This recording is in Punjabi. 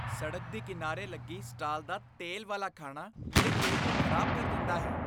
ਸੜਕ ਦੇ ਕਿਨਾਰੇ ਲੱਗੀ ਸਟਾਲ ਦਾ ਤੇਲ ਵਾਲੇ ਖਾਣਾ ਮੇਰੇ ਪੇਟ ਨੂੰ ਖ਼ਰਾਬ ਕਰ ਦਿੰਦਾ ਹੈ।